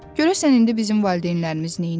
Görəsən indi bizim valideynlərimiz neynir?